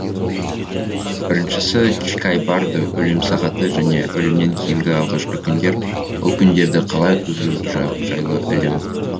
біріншісі чикай бардо өлім сағаты және өлімнен кейінгі алғашқы күндер ол күндерді қалай өткізу жайлы ілім